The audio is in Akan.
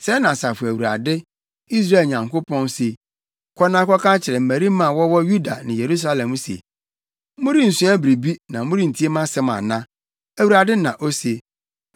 “Sɛɛ na Asafo Awurade, Israel Nyankopɔn, se: Kɔ na kɔka kyerɛ mmarima a wɔwɔ Yuda ne Yerusalem se, ‘Morensua biribi na morentie mʼasɛm ana?’ Awurade na ose.